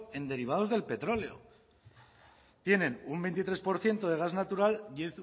en derivados del petróleo tienen un veintitrés por ciento de gas natural y